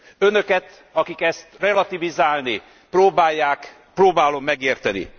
Önöket, akik ezt relativizálni próbálják, próbálom megérteni.